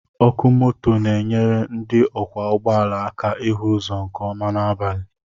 Ọkụ moto na-enyere ndị ọkwọ ụgbọala aka ịhụ ụzọ nke ọma n'abalị